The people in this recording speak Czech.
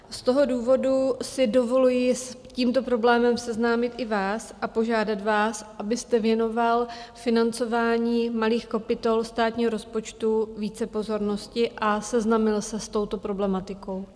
Z toho důvodu si dovoluji s tímto problémem seznámit i vás a požádat vás, abyste věnoval financování malých kapitol státního rozpočtu více pozornosti a seznámil se s touto problematikou.